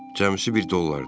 Cəmsi bir dollardır.